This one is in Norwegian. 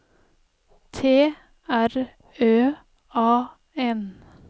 T R Ø A N